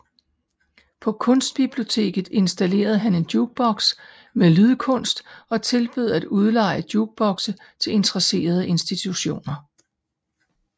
På Kunstbiblioteket installerede han en jukebox med lydkunst og tilbød at udleje jukeboxe til interesserede institutioner